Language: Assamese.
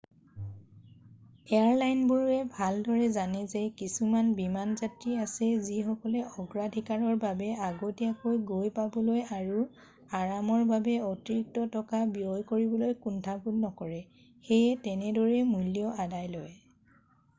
এয়াৰলাইনবোৰে ভালদৰে জানে যে কিছুমান বিমান যাত্ৰী আছে যিসকলে অগ্ৰাধিকাৰৰ বাবে আগতীয়াকৈ গৈ পাবলৈ আৰু আৰামৰ বাবে অতিৰিক্ত টকা ব্যয় কৰিবলৈ কুণ্ঠাবোধ নকৰে সেয়ে তেনেদৰেই মূল্য আদায় লয়